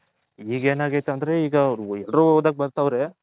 ಈಗ ಯೆನಗೈತೆ ಅಂದ್ರೆ ಈಗ ಎಲ್ಲರೂ ಓದಾಕೆ ಬರ್ತವ್ರೆ